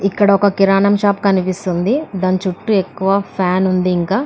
ఇక్కడ ఒక కిరాణా షాపు కనిపిస్తుంది దాని చుట్టూ ఎక్కువ ఫ్యాన్ ఉంది. ఇంకా --